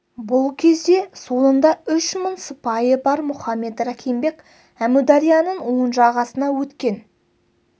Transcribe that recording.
бұл кезде соңында үш мың сыпайы бар мұхаммед рахим бек әмударияның оң жағасына өткен